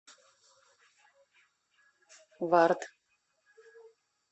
вард